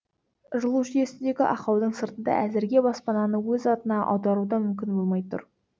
жылу жүйесіндегі ақаудың сыртында әзірге баспананы өз атына аудару да мүмкін болмай тұр